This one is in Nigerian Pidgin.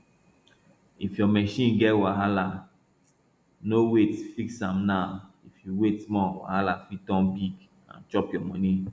if your machine get wahala no wait fix am now if you wait small wahala fit turn big and chop your money